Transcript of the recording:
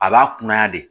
A b'a kunnaya de